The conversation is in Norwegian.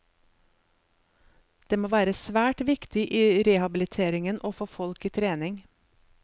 Det må være svært viktig i rehabiliteringen å få folk i trening.